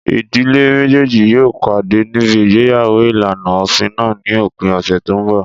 Ìdílé méjèjì yóò pàdé níbi igbeyawo ìlànà òfin náà ní òpin ọ̀sẹ̀ tó n bọ̀